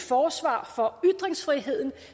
forsvar for ytringsfriheden